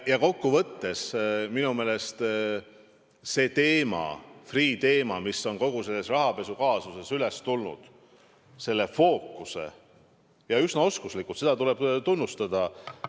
Kokkuvõttes aga on see teema, Freeh' teema, mis on kogu selles rahapesukaasuses üles tulnud, minu meelest üsna oskuslikult fookusesse tõstetud, seda tuleb tunnistada.